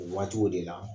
O waatiw de la